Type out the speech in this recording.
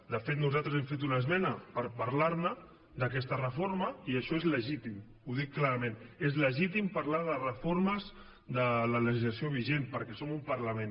de fet nosaltres hem fet una esmena per parlar ne d’aquesta reforma i això és legítim ho dic clarament és legítim parlar de reformes de la legislació vigent perquè som un parlament